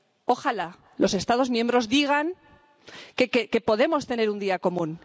Ojalá los Estados miembros digan que podemos tener un día común.